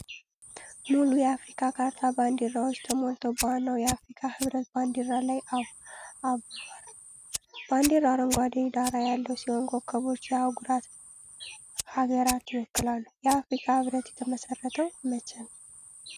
ሙሉ የአፍሪካ ካርታ በባንዲራዎች ተሞልቶ በዋናው የአፍሪካ ኅብረት ባንዲራ ላይ አብሯል። ባንዲራው አረንጓዴ ዳራ ያለው ሲሆን ኮከቦች የአህጉሩን ሀገራት ይወክላሉ። የአፍሪካ ህብረት የተመሰረተው መቼ ነው?